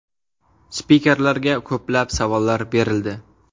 Spikerlarga ko‘plab savollar berildi.